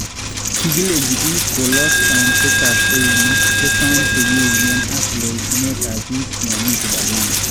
Kikileenji biik koloos kaunseetaab ewuneek, chesoon chekiyuunen, ak loitunetab biik yomi kibaakeenke